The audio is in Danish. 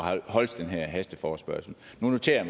holdes den her hasteforespørgsel nu noterer